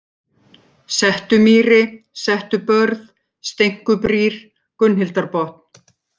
Settumýri, Settubörð, Steinkubrýr, Gunnhildarbotn